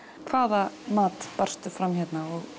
hvaða mat fram hérna